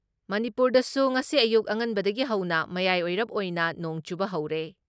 ꯃꯅꯤꯄꯨꯔꯗꯁꯨ ꯉꯁꯤ ꯑꯌꯨꯛ ꯑꯉꯟꯕꯗꯒꯤ ꯍꯧꯅ ꯃꯌꯥꯏ ꯑꯣꯏꯔꯞ ꯑꯣꯏꯅ ꯅꯣꯡ ꯆꯨꯕ ꯍꯧꯔꯦ ꯫